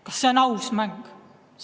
Kas see on aus mäng?